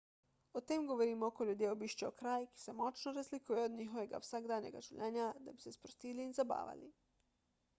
o tem govorimo ko ljudje obiščejo kraj ki se močno razlikuje od njihovega vsakdanjega življenja da bi se sprostili in zabavali